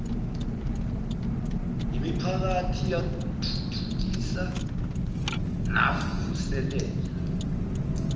yimiphakathi athuthukisa navuselela